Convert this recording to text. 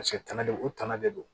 Paseke tana de u tana de don